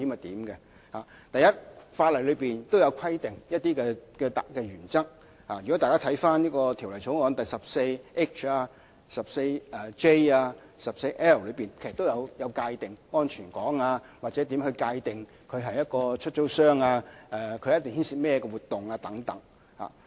第一，法例上有一些特定原則，條例草案第 14H 條、第 14J 條和第 14L 條等，它們均有界定安全港，或界定合資格飛機出租商須參與甚麼活動等。